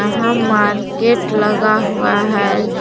यहां मार्केट लगा हुआ है।